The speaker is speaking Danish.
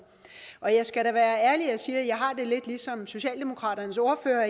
og jeg skal da være ærlig og sige at jeg har det lidt ligesom socialdemokratiets ordfører